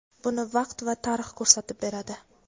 buni vaqt va tarix ko‘rsatib beradi.